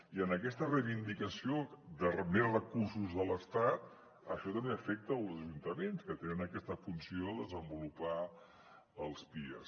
i aquesta reivindicació de més recursos de l’estat això també afecta els ajuntaments que tenen aquesta funció de desenvolupar els pies